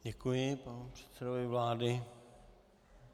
Děkuji panu předsedovi vlády.